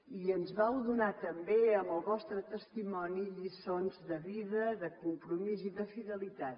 i ens vau donar també amb el vostre testimoni lliçons de vida de compromís i de fidelitat